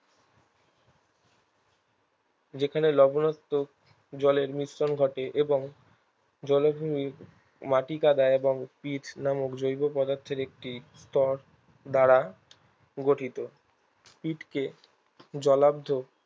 যেখানে লবনাত্মক জলের মিশ্রণ ঘটে এবং জলাভূমির মাটি কাদা এবং স্পিট নামক জৈব পদার্থের একটি স্তর দ্বারা গঠিত স্পিটকে জলাদ্ধক